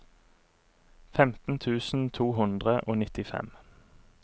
femten tusen to hundre og nittifem